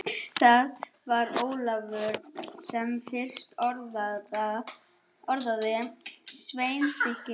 Það var Ólafur sem fyrst orðaði sveitarstyrk.